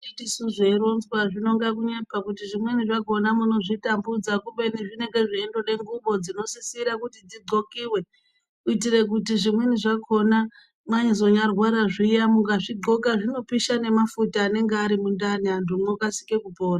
Iti sezveironzwa zvinonga kunyepa kuti zvimweni zvakhona munozvitambudza kubeni zvinenge Zveindode nhlubo dzinosisire kuti dzidhlokiwe kuitire kuti Zvimweni zvakhona mwazonyarwara zviyamukazvidhloka zvinopisha nemafuta anenga ari mundani antu mwokasire kupora.